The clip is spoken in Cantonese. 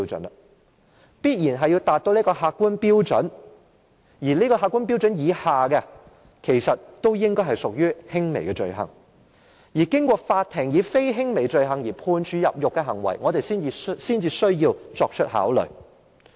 有關行為必然要符合這個客觀標準，在這個客觀標準以下的，均應屬於輕微罪行，而對於經過法庭以非輕微罪行而判處入獄的行為，我們才需要作出考慮。